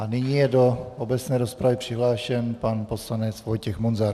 A nyní je do obecné rozpravy přihlášen pan poslanec Vojtěch Munzar.